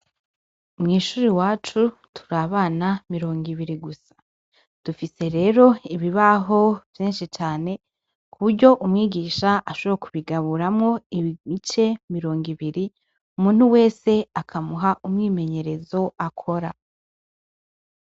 Mw'ishure iwacu turi abana mirongo ibiri gusa. Dufise rero ibibaho vyinshi cane, kuburyo umwigisha ashobora kubigaburamwo ibice mirongo ibiri, umuntu wese akamuha umwimenyerezo akora.